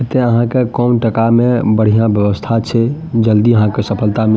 एते यहाँ के कौन त का में बढ़िया वयवस्था छे जल्दी यहाँ के सफलता मिल --